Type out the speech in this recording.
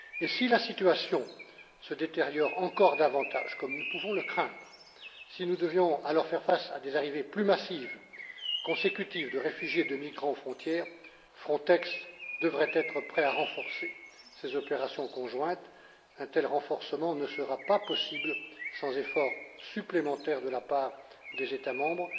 Si la situation se détériore davantage, comme nous pouvons le craindre, si nous devions alors faire face à des arrivées plus massives consécutives de réfugiés, de migrants aux frontières, Frontex devrait être prête à renforcer ses opérations conjointes. Un tel renforcement ne sera pas possible sans efforts supplémentaires de la part des États